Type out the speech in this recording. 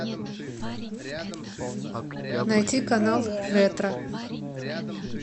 найти канал ретро